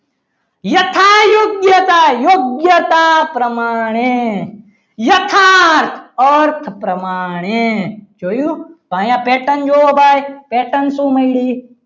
યથા યોગ્યતા યોગ્યતા પ્રમાણે યથાર્થ અર્થ પ્રમાણે જોયું અહીંયા pattern જોવો ભાઈ પેટન શું મળ્યું.